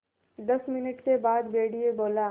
दस मिनट के बाद भेड़िया बोला